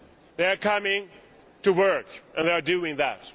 They are coming to work, and they are doing that.